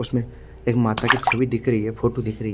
उसमे एक माता की छवि दख रही है फोटो दिख रही--